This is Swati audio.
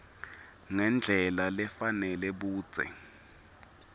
ngendlela lefanele budze